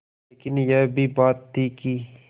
लेकिन यह भी बात थी कि